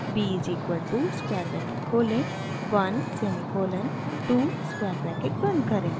b is equal to square bracket खोलें 1 semicolon 2 square bracket बंद करें